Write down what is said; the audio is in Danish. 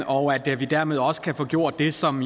og at vi dermed også kan få gjort det som